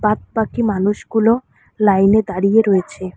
বাদবাকি মানুষগুলো লাইনে দাড়িয়ে রয়েছে।